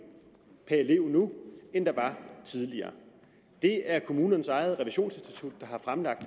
per elev nu end der var tidligere det er kommunernes eget revisionsinstitut der har fremlagt